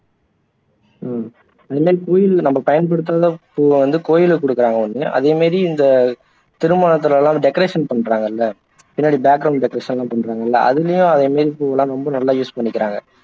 ஹம் இந்த மாதிரி பயன்படுத்தாத பூவை வந்து கோயிலுக்கு கொடுக்குறாங்கல்ல அதே மாதிரி இந்த திருமணத்துல எல்லாம் decoration பண்றாங்கல்ல பின்னாடி background decoration எல்லாம் பண்றாங்கல்ல அதுலயும் அதே மாதிரி பூவெல்லாம் ரொம்ப நல்லா use பண்ணிக்கிறாங்க